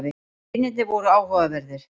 Vinirnir voru áhugaverðir.